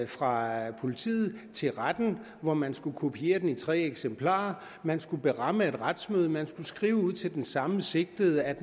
fra politiet til retten hvor man skal kopiere den i tre eksemplarer man skal beramme et retsmøde man skal skrive ud til den samme sigtede at